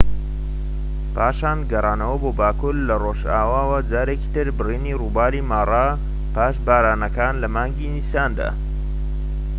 پاشان گەڕانەوە بۆ باكوور لە ڕۆژئاواوە جارێکیتر بڕینی ڕووباری مارا پاش بارانەکان لە مانگی نیساندا